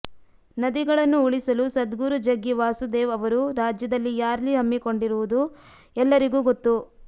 ನದಿಗಳನ್ನು ಉಳಿಸಲು ಸದ್ಗುರು ಜಗ್ಗಿ ವಾಸುದೇವ್ ಅವರು ರಾಜ್ಯದಲ್ಲಿ ರ್ಯಾಲಿ ಹಮ್ಮಿಕೊಂಡಿರುವುದು ಎಲ್ಲರಿಗೂ ಗೊತ್ತು